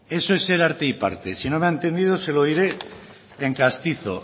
eso es ser arte y parte y si no me ha entendido se lo diré en castizo